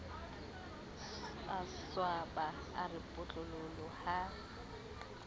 swaba a re potlololo ha